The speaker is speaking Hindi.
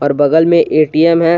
और बगल में ए टी एम है।